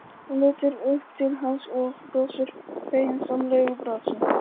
Hún lítur upp til hans og brosir feginsamlegu brosi.